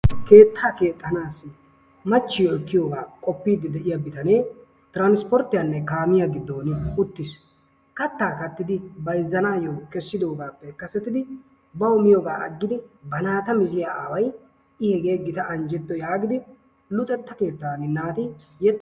Keettaa keexxanaassi machchiyo ekkiyogaa qoppiiddi de"iya bitanee tiraanispporttiyanne kaamiya giddon uttis. Kattaa kattidoogaa bayzzanaayyo kessidoogaappe kasetidi bawu miyogaa aggidi ba naata miziya aaway I hegee gita anjjetto yaagidi luxetta keettaani naati....